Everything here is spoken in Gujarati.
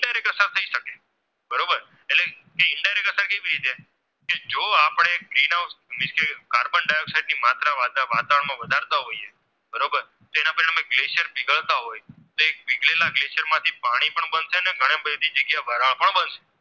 જાણતા હોઈયે બરોબર જેના cesium ઉકળતા હોય તો એ પીગળેલા gas માંથી પાણી પણ બનશે અને વરાળ પણ બનશે